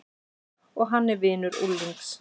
Og hann er vinur unglings.